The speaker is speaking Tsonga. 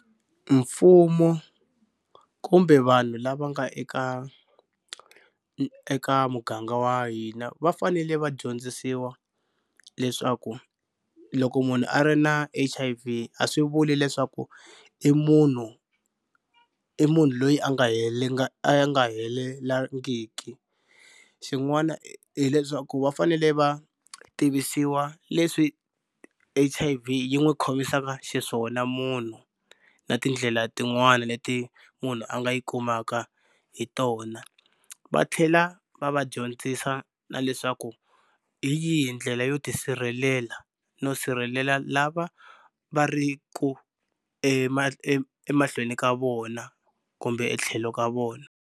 Mfumo kumbe vanhu lava nga eka eka muganga wa hina va fanele va dyondzisiwa leswaku loko munhu a ri na H_I_V a swi vuli leswaku i munhu i munhu loyi a nga a nga helelangiki. Xin'wana hileswaku va fanele va tivisiwa leswi H_I_V yi n'wi khomisaka xiswona munhu na tindlela tin'wana leti munhu a nga yi kumaka hi tona va tlhela va va dyondzisa na leswaku hi yihi ndlela yo tisirhelela no sirhelela lava va ri ku emahlweni ka vona kumbe etlhelo ka vona.